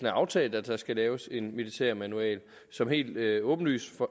er aftalt at der skal laves en militærmanual som helt åbenlyst